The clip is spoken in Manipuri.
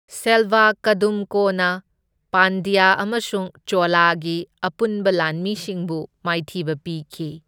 ꯁꯦꯜꯚꯥ ꯀꯗꯨꯝꯀꯣꯅ ꯄꯥꯟꯗ꯭ꯌꯥ ꯑꯃꯁꯨꯡ ꯆꯣꯂꯥꯒꯤ ꯑꯄꯨꯟꯕ ꯂꯥꯟꯃꯤꯁꯤꯡꯕꯨ ꯃꯥꯏꯊꯤꯕ ꯄꯤꯈꯤ꯫